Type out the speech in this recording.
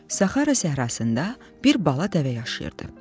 Saxara səhrasında bir bala dəvə yaşayırdı.